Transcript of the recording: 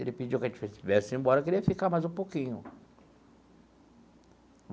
Ele pediu que a gente viesse embora, que ele ia ficar mais um pouquinho.